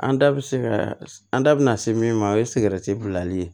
An da bɛ se ka an da bɛna se min ma o ye sigɛrɛti bilali